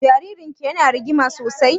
Jaririn ki ya na rigima sosai?